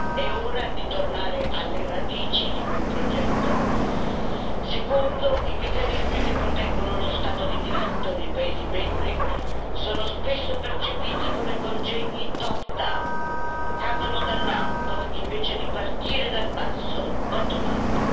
È ora di tornare alle radici di quel progetto secondo i meccanismi che proteggono lo Stato di diritto negli Stati membri, sono spesso percepiti come congegni top down che cadono dall'alto invece di partire dal basso, bottom up